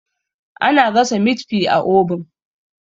ana gasa mit fi a obin